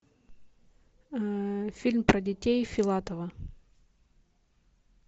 фильм про детей филатова